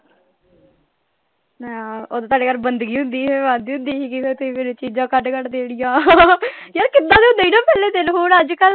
ਓਹਦੋਂ ਤਾਡੇ ਘਰ ਬੰਦਗੀ ਹੁੰਦੀ ਸੀਗੀ ਮੈਂ ਆਂਦੀ ਹੁੰਦੀ ਸੀਗੀ ਫਿਰ ਤੁਸੀਂ ਮੈਨੂੰ ਚੀਜ਼ਾਂ ਕੱਢ ਕੱਢ ਦੇਣੀਆਂ ਯਾਰ ਕਿਦਾਂ ਦੇ ਹੁੰਦੇ ਸੀ ਨਾ ਪਹਲੇ ਦਿਨ ਹੁਣ ਅੱਜ ਕਲ,